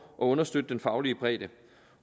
og understøtte den faglige bredde